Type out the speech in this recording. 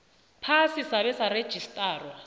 phasi sabe sarejistarwa